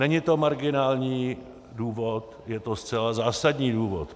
Není to marginální důvod, je to zcela zásadní důvod.